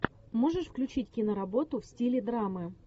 можешь включить киноработу в стиле драмы